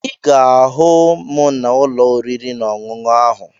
Ị ga-ahụ m n'ụlọ oriri na ọṅụṅụ ahụ